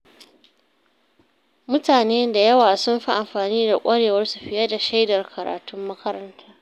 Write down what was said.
Mutane da yawa sun fi amfani da ƙwarewarsu fiye da shaidar karatun makaranta.